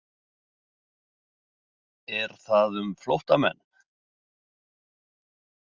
Er það um flóttamenn?